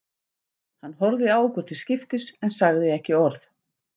Hann horfði á okkur til skiptis en sagði ekki orð.